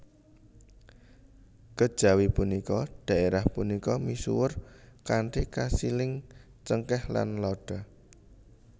Kejawi punika daérah punika misuwur kanthi kasiling cengkeh lan lada